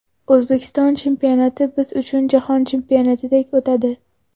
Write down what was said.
O‘zbekiston chempionati biz uchun Jahon chempionatidek o‘tadi.